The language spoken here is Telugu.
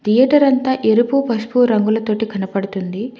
థియేటర్ అంతా ఎరుపు పసుపు రంగులతోటి కనపడుతుంది.